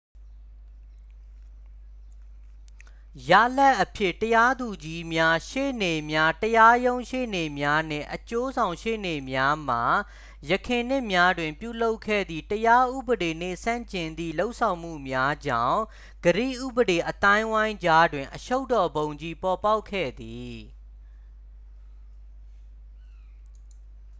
ရလဒ်အဖြစ် တရားသူကြီးများ ရှေ့နေများ တရားရုံးရှေ့နေ့များနှင့် အကျိုးဆောင်ရှေ့နေများမှ ယခင်နှစ်များတွင်ပြုလုပ်ခဲ့သည့် တရားဥပဒေနှင့်ဆန့်ကျင်သည့် လုပ်ဆောင်မှုများကြောင့် ဂရိဥပဒေအသိုင်းအဝိုင်းကြားတွင်အရှုပ်တော်ပုံကြီး ပေါ်ပေါက်ခဲ့သည်